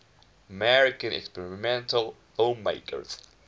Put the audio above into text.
american experimental filmmakers